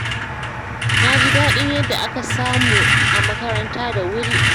Na ji daɗin yadda aka saka mu a makaranta da wuri